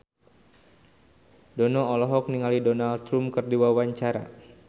Dono olohok ningali Donald Trump keur diwawancara